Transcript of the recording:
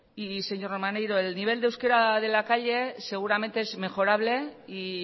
y señor maneiro el nivel de euskera de la calle seguramente es mejorable y